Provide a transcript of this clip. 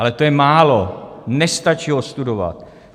Ale to je málo, nestačí ho studovat.